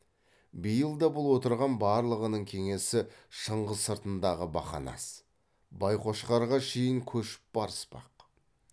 биыл да бұл отырған барлығының кеңесі шыңғыс сыртындағы бақанас байқошқарға шейін көшіп барыспақ